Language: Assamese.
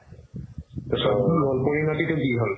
চবতো গ'ল পৰিণতিতো কি হ'ল